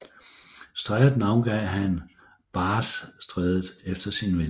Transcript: Strædet navngav han Bassstrædet efter sin ven